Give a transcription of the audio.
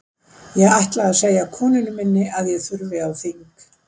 Ég ætla að segja konunni minni að ég þurfi á þing.